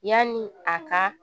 Yanni a ka